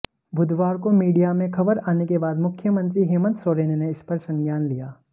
बुधवार को मीडिया में खबर आने के बाद मुख्यमंत्री हेमंत सोरेने ने इसपर संज्ञान लिया